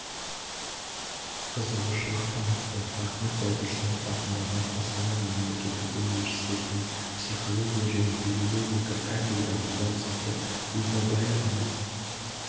қызығушылық танытты ахмет байтұрсынов атындағы қостанай мемлекеттік университетінің психология және педагогика кафедраның доценты урдабаеваның